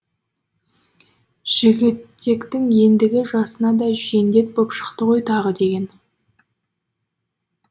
жігітектің ендігі жасына да жендет боп шықты ғой тағы деген